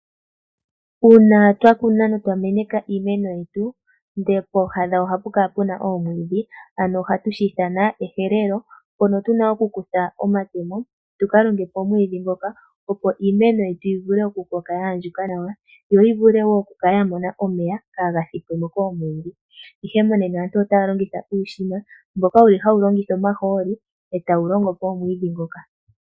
Uuna twa kuna no twa meneka iimeno yetu, ndele pooha dhayo ohapu kala puna oomwiidhi, ano ohatu shi ithana ehelelo. Mpono tuna okukutha omatemo tu ka longepo omwiidhi ngoka, opo iimeno yetu yi vule okukoka ya andjuka nawa, yo yi vule wo okukala ya mona omeya kaaga thipwemo koomwiidhi. Ihe monena aantu otaya longitha uushina mboka wuli hawu longitha omahooli, e tawu longopo omwiidhi ngoka.